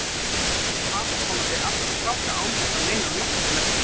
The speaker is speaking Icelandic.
Hún talar svona við alla stráka án þess að meina nokkuð með því.